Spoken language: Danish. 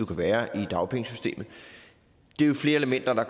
kan være i dagpengesystemet det er jo flere elementer der